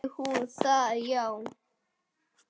Vildi hún það já?